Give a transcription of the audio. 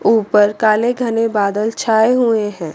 ऊपर काले घने बादल छाए हुए हैं।